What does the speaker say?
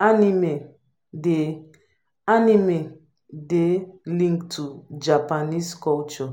animie dey animie dey linked to japanese culture